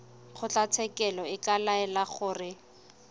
kgotlatshekelo e ka laela gore